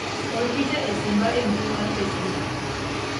or picha e simba e mbui mar facebook